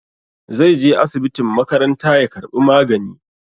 Zai je asibitin makaranta ya karɓi magani.